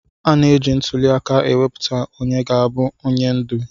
A na-eji ntuli aka ewepụta onye ga-abụ onye ndu.